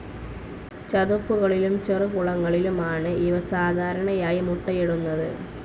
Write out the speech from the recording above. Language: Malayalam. ചതുപ്പുകളിലും ചെറു കുളങ്ങളിലുമാണ് ഇവ സാധാരണയായി മുട്ടയിടുന്നത്.